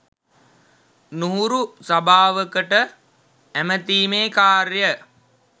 නුහුරු සභාවකට ඇමතීමේ කාර්යය